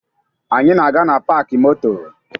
Anyị na-aga na paakị moto